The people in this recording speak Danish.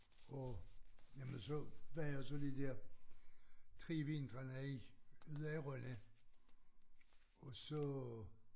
Og jamen så var jeg jo så lige der 3 vintrene i ude i Rønne og så